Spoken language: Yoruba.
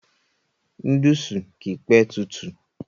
Núdùsù kìí p tutù.